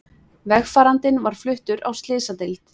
Vegfarandinn var fluttur á slysadeild